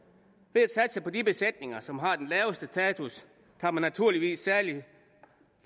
ved at satse på de besætninger som har den laveste status kan man naturligvis særlig